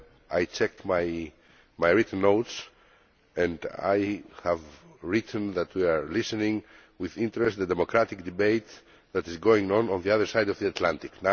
I checked my written notes and I had written that we are listening with interest to the democratic debate that is going on on the other side of the Atlantic'.